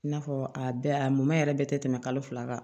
I n'a fɔ a bɛɛ a mɔmɔ yɛrɛ bɛɛ tɛ tɛmɛ kalo fila kan